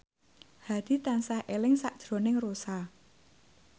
Hadi tansah eling sakjroning Rossa